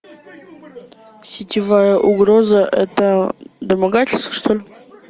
сетевая угроза это домогательство что ли